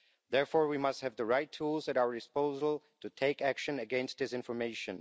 Therefore, we must have the right tools at our disposal to take action against disinformation.